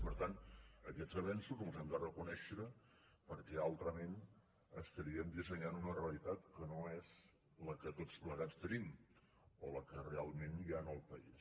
i per tant aquests avenços els hem de reconèixer perquè altrament dissenyaríem una realitat que no és la que tots plegats tenim o la que realment hi ha al país